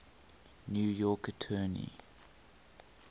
new york attorney